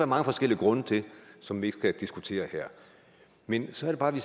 mange forskellige grunde til som vi ikke skal diskutere her men så er det bare